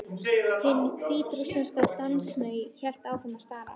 Hin hvítrússneska dansmey hélt áfram að stara á